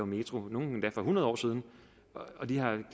metro nogle endda for hundrede år siden og de har